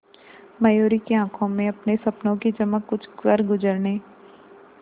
मयूरी की आंखों में अपने सपनों की चमक कुछ करगुजरने